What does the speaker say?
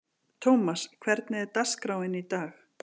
Thomas, hvernig er dagskráin í dag?